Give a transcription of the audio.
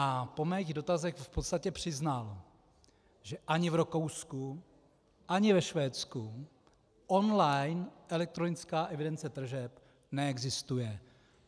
A po mých dotazech v podstatě přiznal, že ani v Rakousku ani ve Švédsku on-line elektronická evidence tržeb neexistuje.